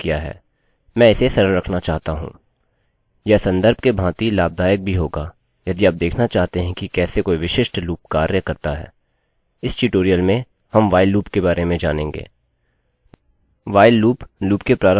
मैं इसे सरल रखना चाहता हूँ यह सन्दर्भ के भांति लाभदायक भी होगा यदि आप देखना चाहते हैं कि कैसे कोई विशिष्ट लूपloop कार्य करता है